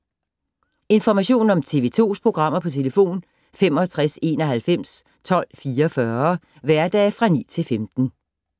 Information om TV 2's programmer: 65 91 12 44, hverdage 9-15.